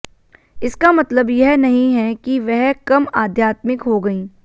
इसका मतलब यह नहीं है कि वह कम आध्यात्मिक हो गईं